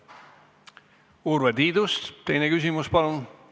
Urve Tiidus, teine küsimus, palun!